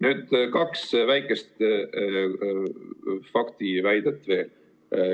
Nüüd, kaks väikest faktiväidet veel.